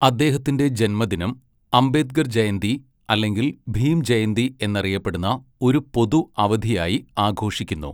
അദ്ദേഹത്തിന്റെ ജന്മദിനം അംബേദ്കർ ജയന്തി അല്ലെങ്കിൽ ഭീം ജയന്തി എന്നറിയപ്പെടുന്ന ഒരു പൊതു അവധിയായി ആഘോഷിക്കുന്നു.